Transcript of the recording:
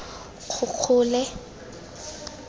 kgokgole